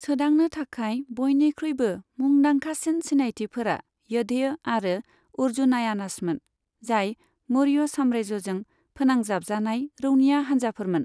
सोदांनो थाखाय बयनिख्रुइबो मुंदांखासिन सिनायथिफोरा य'धेय आरो अर्जुनायानासमोन, जाय मौर्य साम्रायजोजों फोनांजाबजानाय रौनिया हानजाफोरमोन।